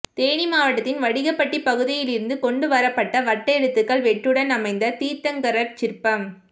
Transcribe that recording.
தேனி மாவட்டத்தின் வடுகப்பட்டி பகுதியிலிருந்து கொண்டுவரப்பட்ட வட்டெழுத்துக்கல்வெட்டுடன் அமைந்த தீர்த்தங்கரர் சிற்பம்